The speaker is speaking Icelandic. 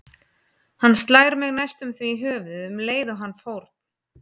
Hann slær mig næstum því í höfuðið um leið og hann fórn